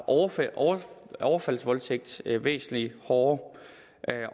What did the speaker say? overfaldsvoldtægt væsentlig hårdere